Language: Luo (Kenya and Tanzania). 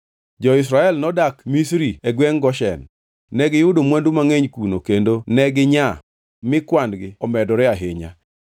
Jo-Israel nodak Misri e gwengʼ Goshen. Negiyudo mwandu mangʼeny kuno kendo ne ginyaa mi kwan-gi omedore ahinya.